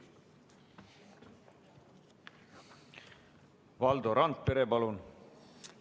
Valdo Randpere, palun!